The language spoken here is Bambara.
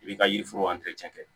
I bi ka yiriforo kɛ